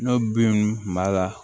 N'o bin b'a la